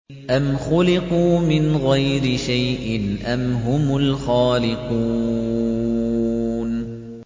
أَمْ خُلِقُوا مِنْ غَيْرِ شَيْءٍ أَمْ هُمُ الْخَالِقُونَ